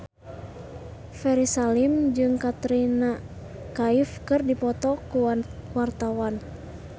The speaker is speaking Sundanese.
Ferry Salim jeung Katrina Kaif keur dipoto ku wartawan